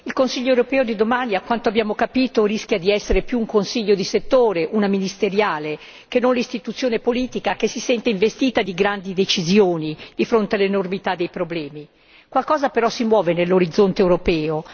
Signor Presidente, onorevoli colleghi, il Consiglio europeo di domani, a quanto abbiamo capito, rischia di essere più un Consiglio di settore, una ministeriale, che non l'istituzione politica che si sente investita di grandi decisioni di fronte all'enormità dei problemi. Qualcosa però si muove nell'orizzonte europeo.